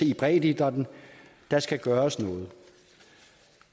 i breddeidrætten der skal gøres noget